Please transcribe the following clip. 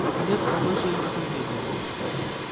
наконец он выше и затруднения